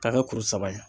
K'a kɛ kuru saba ye